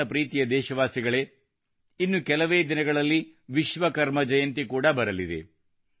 ನನ್ನ ಪ್ರೀತಿಯ ದೇಶವಾಸಿಗಳೇ ಇನ್ನು ಕೆಲವೇ ದಿನಗಳಲ್ಲಿ ವಿಶ್ವಕರ್ಮ ಜಯಂತಿ ಕೂಡಾ ಬರಲಿದೆ